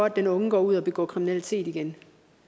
at den unge går ud og begår kriminalitet igen